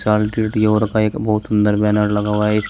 का एक बहोत अंदर बैनर लगा हुआ है इसके--